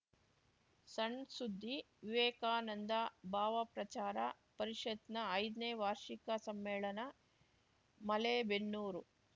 ಸಣ್‌ ಸುದ್ದಿ ವಿವೇಕಾನಂದ ಭಾವಪ್ರಚಾರ ಪರಿಷತ್‌ನ ಐದ್ ನೇ ವಾರ್ಷಿಕ ಸಮ್ಮೇಳನ ಮಲೇಬೆನ್ನೂರು